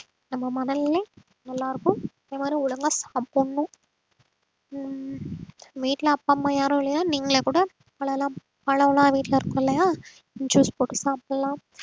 நம்ம மனநிலை நல்லா இருக்கும் இந்த மாதிரி ஒழுங்கா சாப்பிடணும் ஆஹ் வீட்டுல அப்பா அம்மா யாரும் இல்லையா நீங்களே கூட பழமெல்லாம், பழமெல்லாம் வீட்டுல இருக்கும் இல்லையா juice போட்டு சாப்பிடலாம்